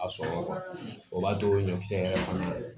A sɔrɔ o b'a to o ye ɲɛkisɛ yɛrɛ fana ye